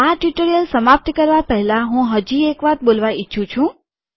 આ ટ્યુટોરીઅલ સમાપ્ત કરવા પહેલા હું હજી એક વાત બોલવા ઇચ્છું છું